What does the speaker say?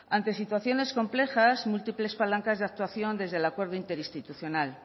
ante situaciones complejas múltiples palancas de actuación desde el acuerdo interinstitucional